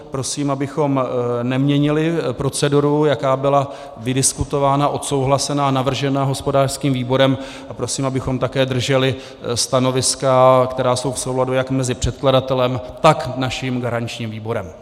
Prosím, abychom neměnili proceduru, jaká byla vydiskutovaná, odsouhlasená, navržena hospodářským výborem, a prosím, abychom také drželi stanoviska, která jsou v souladu jak mezi předkladatelem, tak naším garančním výborem.